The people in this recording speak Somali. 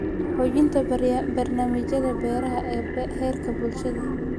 Xoojinta barnaamijyada beeraha ee heerka bulshada.